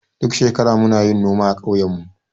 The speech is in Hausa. Duk shekara muna yin noma a ƙauyen mu.